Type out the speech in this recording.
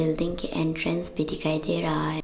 Building के entrance भी दिखाई दें रहा है।